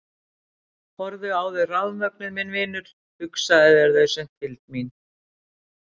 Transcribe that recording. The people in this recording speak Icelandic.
Horfðu á þau rafmögnuð minn vinur, hugsaðu þér þau séu fylgd mín.